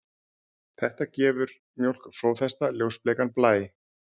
Þetta gefur mjólk flóðhesta ljósbleikan blæ.